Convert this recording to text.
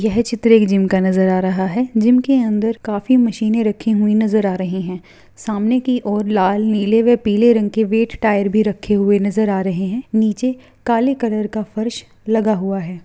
यह चित्र एक जिम का नज़र आ रहा है| जिम के अंदर काफी मशीने रखी हुई नजर आ रही है| सामने की ओर लाल नीले व पीले रंग के वेट टायर भी रखे हुए नजर आ रहे हैं नीचे काली कलर का फर्श लगा हुआ है।